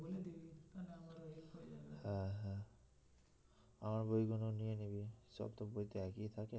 হ্যাঁ হ্যাঁ আমার বইগুলো নিয়ে নিবি সব তো বই তে একই থাকে